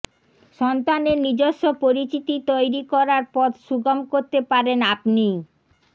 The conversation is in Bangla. সন্তানের নিজস্ব পরিচিতি তৈরি করার পথ সুগম করতে পারেন আপনিই